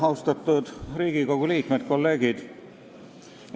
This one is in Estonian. Austatud Riigikogu liikmed, kolleegid!